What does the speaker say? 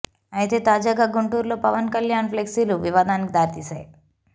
అయితే తాజాగా గుంటూరులో పవన్ కళ్యాణ్ ప్లెక్సీలు వివాదానికి దారి తీసాయి